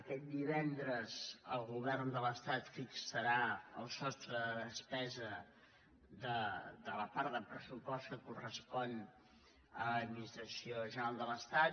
aquest divendres el govern de l’estat fixarà el sostre de despesa de la part de pressupost que correspon a l’administració general de l’estat